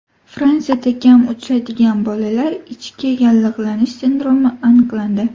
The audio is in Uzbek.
Fransiyada kam uchraydigan bolalar ichki yallig‘lanishi sindromi aniqlandi.